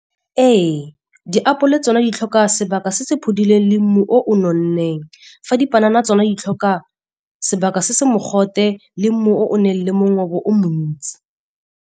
Ee, ditapole tsona di tlhoka sebaka se se phodileng le mmu o nonneng. Fa dipanana tsona di tlhoka sebaka se se mogote le mmu o o nang le mongobo o montsi.